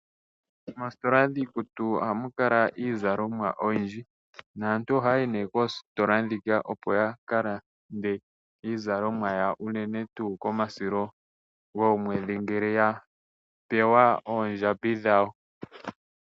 Moositola dhiikutu ohamu kala iizalomwa oyindji naantu ohaya yi nee koositola ndhika opo ya ka lande iizalomwa yawo unene tuu komusilo gomwedhi ngele ya pewa oondjambi dhawo.